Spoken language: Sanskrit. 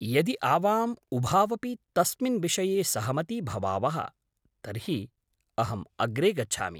यदि आवाम् उभावपि तस्मिन् विषये सहमती भवावः, तर्हि अहम् अग्रे गच्छामि।